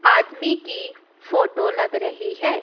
आदमी की फोटो लग रही है।